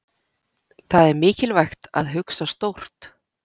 Það er mikilvægt að hugsa stórt.